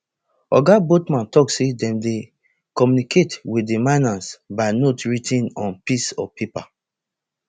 oga botman tok say dem dey communicate wit di miners by notes writ ten on pieces of paper